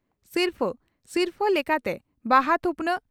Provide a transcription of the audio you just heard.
ᱥᱤᱨᱯᱷᱟᱹ ᱥᱤᱨᱯᱷᱟᱹ ᱞᱮᱠᱟᱛᱮ ᱵᱟᱦᱟ ᱛᱷᱩᱯᱱᱟᱜ